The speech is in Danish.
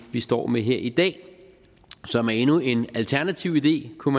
vi står med her i dag som er endnu en alternativ idé kunne